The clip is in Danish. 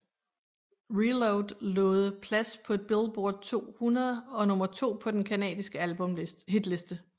ReLoad nåede plads et på Billboard 200 og nummer to på den canadiske albumhitliste